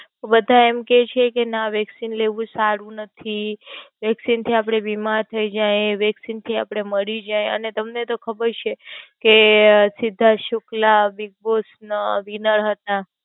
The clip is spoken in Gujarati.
બધા એમ કેય છે કે ના Vaccine લેવું સારું નથી. Vaccine થી આપડે બીમાર થઈ જાયે, Vaccine થી આપડે મરી જાયે, અને તમને તો ખબર છે. કે સિદ્ધાર્થ સુક્લા Big Boss ના Vinner હતા.